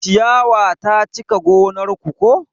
Ciyawa ta cika gonar ku ko?